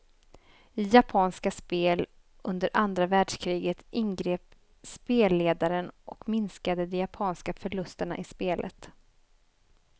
I japanska spel under andra världskriget ingrep spelledaren och minskade de japanska förlusterna i spelet.